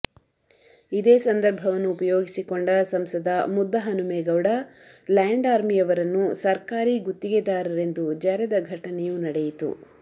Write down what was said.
ಇದೇ ಸಂದರ್ಭವನ್ನು ಉಪಯೋಗಿಸಿಕೊಂಡ ಸಂಸದ ಮುದ್ದಹನುಮೇಗೌಡ ಲ್ಯಾಂಡ್ ಅರ್ಮಿಯವರನ್ನು ಸರ್ಕಾರಿ ಗುತ್ತಿಗೆದಾರರೆಂದು ಜರೆದ ಘಟನೆಯೂ ನಡೆಯಿತು